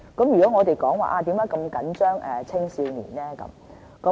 為何我們那麼緊張青少年呢？